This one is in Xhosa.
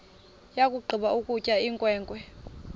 yakugqiba ukutya inkwenkwe